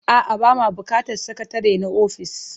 A'a, ba ma buƙatar sakatare na ofis.